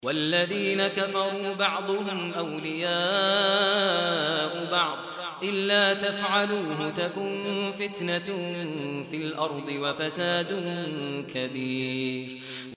وَالَّذِينَ كَفَرُوا بَعْضُهُمْ أَوْلِيَاءُ بَعْضٍ ۚ إِلَّا تَفْعَلُوهُ تَكُن فِتْنَةٌ فِي الْأَرْضِ وَفَسَادٌ كَبِيرٌ